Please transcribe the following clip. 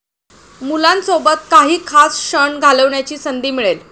मुलांसोबत काही खास क्षण घालवण्याची संधी मिळेल.